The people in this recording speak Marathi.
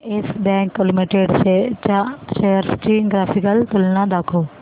येस बँक लिमिटेड च्या शेअर्स ची ग्राफिकल तुलना दाखव